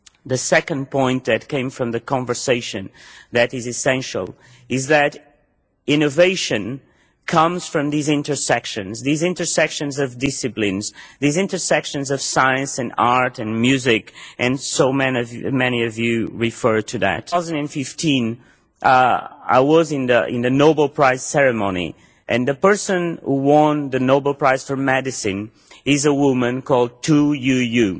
The second point that came from the discussion that is essential is that innovation comes from these intersections these intersections of disciplines, these intersections of science and art and music and so many of you here referred to that. In 2015 I was at the Nobel Prize Award Ceremony and the person who won the Nobel Prize for Medicine was a woman called Tu Youyou.